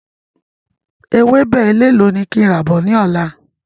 Ewébẹ̀ elélò ni kí n rà bọ̀ ni ọ̀la?